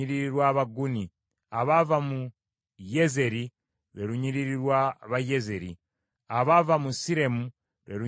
abaava mu Yezeri, lwe lunyiriri lw’Abayezeeri; abaava mu Siremu, lwe lunyiriri lw’Abasiremu.